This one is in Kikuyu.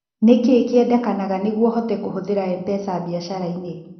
Nĩ kĩĩ kĩendekanaga nĩguo hote kũhũthĩra Mpesa biacara-inĩ?